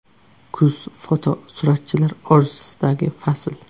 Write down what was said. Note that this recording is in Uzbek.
Kuz fotosuratchilar orzusidagi fasl.